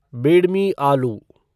बेडमी आलू